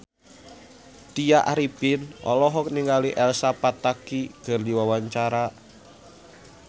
Tya Arifin olohok ningali Elsa Pataky keur diwawancara